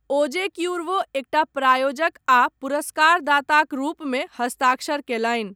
ओजे क्यूर्वो एकटा प्रायोजक आ पुरस्कार दाताक रूपमे हस्ताक्षर कयलनि।